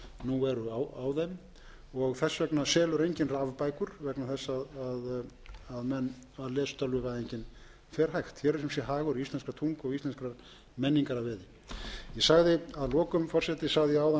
nú eru á þeim þess vegna selur enginn rafbækur vegna þess að lestölvuvæðingin fer hægt hér er sum sé hagur íslenskrar tungu og íslenskar menningar að veði ég sagði að lokum forseti sagði ég áðan